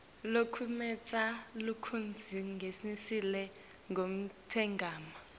locuketse lokudzingekile lokungemagama